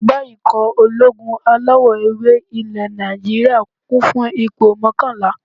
Ẹgbẹ́ ikọ̀ ológun alawọ̀-ewé ilẹ̀ Nàìjíríyà, kún fún ipò mọ́kànlá